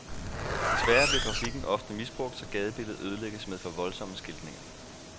Desværre bliver grafikken ofte misbrugt, så gadebilledet ødelægges med for voldsomme skiltninger.